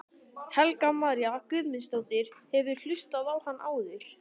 Helga María Guðmundsdóttir: Hefurðu hlustað á hann áður?